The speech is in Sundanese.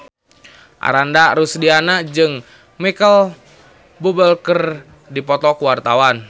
Ananda Rusdiana jeung Micheal Bubble keur dipoto ku wartawan